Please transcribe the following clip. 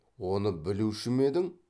оны білуші ме едің